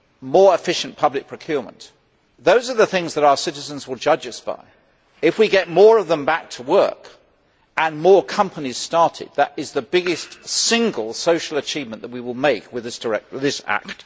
more efficient public procurement those are the things that our citizens will judge us by. If we get more of them back to work and more companies started, that is the biggest single social achievement that we will make with this act.